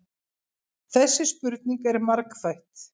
Þessi spurning er margþætt.